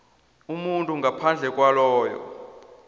umuntu ngaphandle kwaloyo